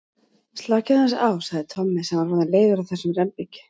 Slakið aðeins á sagði Tommi sem var orðinn leiður á þessum rembingi.